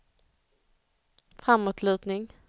framåtlutning